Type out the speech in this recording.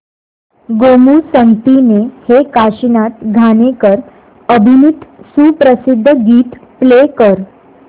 गोमू संगतीने हे काशीनाथ घाणेकर अभिनीत सुप्रसिद्ध गीत प्ले कर